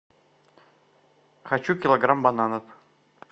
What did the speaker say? хочу килограмм бананов